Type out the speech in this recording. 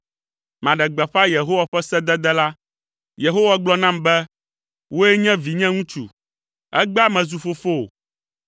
Maɖe gbeƒã Yehowa ƒe sedede la; Yehowa gblɔ nam be, “Wòe nye vinye ŋutsu, egbea mezu fofowò.